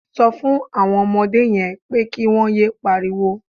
Sọ fún àwọn ọmọdé yẹn pé kí wọ́n yé pariwo.